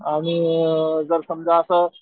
आणि जर समजा असं